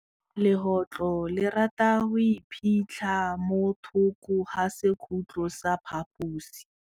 Legôtlô le rata go iphitlha mo thokô ga sekhutlo sa phaposi.